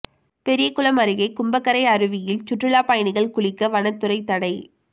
பெரியகுளம் அருகே கும்பக்கரை அருவியில் சுற்றுலா பயணிகள் குளிக்க வனத்துறை தடை